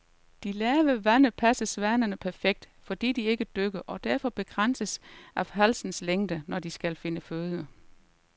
De lave vande passer svanerne perfekt, fordi de ikke dykker og derfor begrænses af halsens længde, når de skal finde føde.